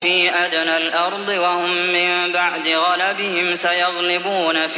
فِي أَدْنَى الْأَرْضِ وَهُم مِّن بَعْدِ غَلَبِهِمْ سَيَغْلِبُونَ